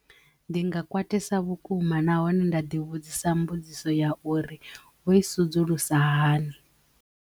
Ndi nga kwatisa vhukuma na hone nda ḓi vhudzisa mbudziso ya uri vho i sudzulusa hani.